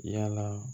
Yala